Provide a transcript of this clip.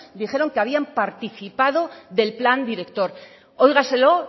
dijeron que habían participado del plan director óigaselo